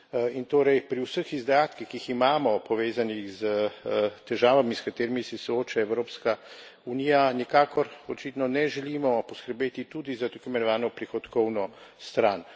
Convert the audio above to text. In torej pri vseh izdatkih, ki jih imamo, povezanih s težavami, s katerimi se sooča Evropska unija, nikakor očitno ne želimo poskrbeti tudi za tako imenovano prihodkovno stran.